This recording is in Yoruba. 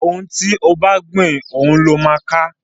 òún tí o bá gbin òun ló má ká